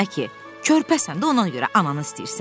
körpəsən də ona görə ananı istəyirsən?